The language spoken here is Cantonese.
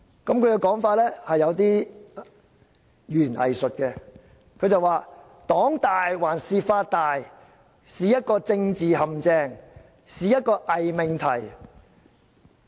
他的說法其實有一點語言"偽術"，他說："'黨大還是法大'是一個政治陷阱，是一個偽命題。